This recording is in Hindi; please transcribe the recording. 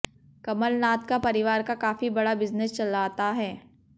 कमलनाथ का परिवार का काफी बड़ा बिजनेस चलाता है